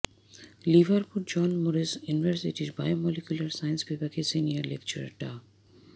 Liverpool John Moores ইউনিভার্সিটির biomolecular science বিভাগের senior lecturer ডা